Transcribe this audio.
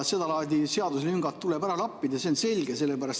Seda laadi seaduselüngad tuleb ära lappida, see on selge.